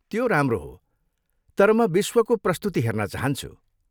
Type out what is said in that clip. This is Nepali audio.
त्यो राम्रो हो, तर म विश्वको प्रस्तुति हेर्न चाहन्छु।